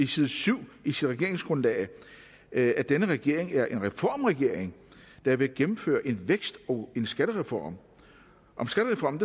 side syv i sit regeringsgrundlag at at denne regering er en reformregering der vil gennemføre en vækst og en skattereform om skattereformen